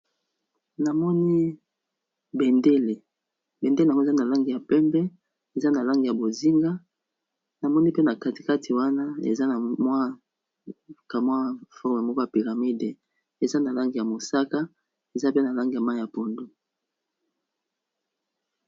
Namoni bendele, bendele yango eza na langi ya pembe, eza na langi ya bozinga, namoni pe na kati kati wana eza na mwa kamwa forme moko ya pyramide eza na langi ya mosaka eza pe na langi ya mayi ya pondu.